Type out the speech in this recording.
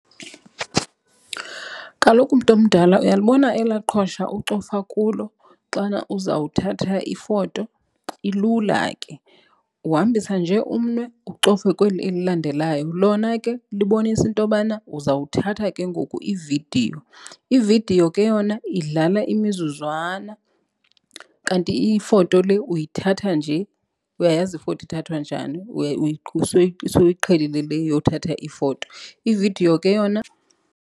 Kaloku, mntomdala, uyalibona elaa qhosha ucofa kulo xana uzawuthatha ifoto? Ilula ke uhambisa nje umnwe ucofe kweli elilandelayo. Lona ke libonisa intobana uzawuthatha ke ngoku ividiyo. Ividiyo ke yona idlala imizuzwana kanti ifoto le uyithatha nje. Uyayazi ifoto ithathwa njani soyiqhelile le yothatha ifoto, ividiyo ke yona.